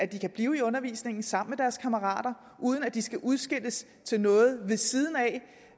kan blive i undervisningen sammen med deres kammerater uden at de skal udskilles til noget ved siden